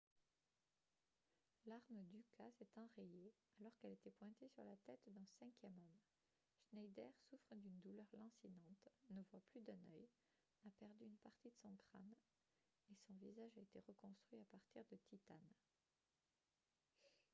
l'arme d'uka s'est enrayée alors qu'elle était pointée sur la tête d'un cinquième homme schneider souffre d'une douleur lancinante ne voit plus d'un œil a perdu une partie de son crâne et son visage a été reconstruit à partir de titane